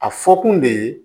A fɔ kun de ye